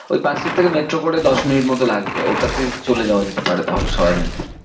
ওই পার্কস্ট্রিট থেকে metro করে দশ মিনিট মতো লাগবে, ওটাতে চলে যাওয়া যেতে পারে তাহলে সবাই মিলে।